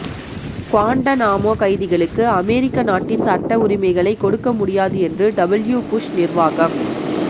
Guantanamo கைதிகளுக்கு அமெரிக்க நாட்டின் சட்ட உரிமைகளைக் கொடுக்க முடியாது என்று டபிள்யு புஷ் நிர்வாகம்